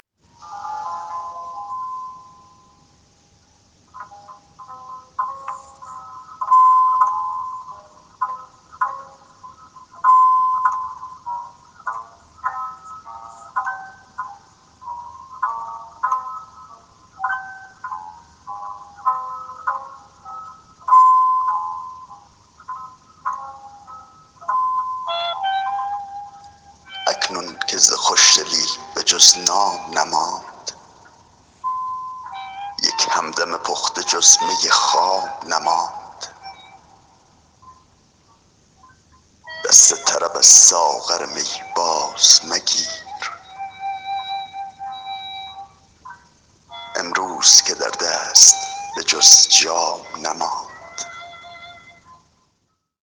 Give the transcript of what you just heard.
اکنون که ز خوشدلی به جز نام نماند یک همدم پخته جز می خام نماند دست طرب از ساغر می بازمگیر امروز که در دست به جز جام نماند